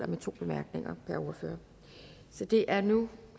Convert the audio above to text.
med to bemærkninger per ordfører det er nu